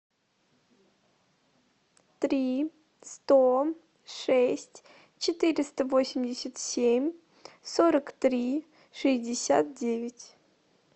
три сто шесть четыреста восемьдесят семь сорок три шестьдесят девять